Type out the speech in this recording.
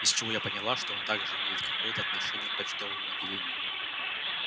из чего я поняла что он также имеет какое-то отношение к почтовому отделению